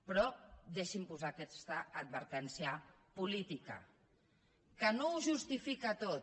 però deixi’m posar aquesta advertència política que no ho justifica tot